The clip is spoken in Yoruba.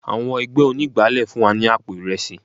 Àwọn ẹgbẹ́ onígbálé fún wa ní àpò Ìrẹsì.